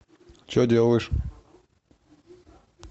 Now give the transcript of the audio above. че делаешь